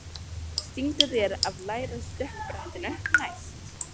Stingdu þér af lægra stökkbrettinu næst.